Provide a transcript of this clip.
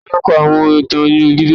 Ta ló kọ àwọn ìtàn inú Bíbélì mímọ́?